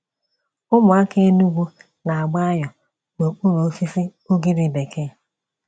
Ụmụaka Enugwu na-agba ayo n'okpuru osisi ugiri bekee.